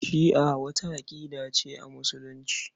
Shi'a wata aƙida ce a Musulunci.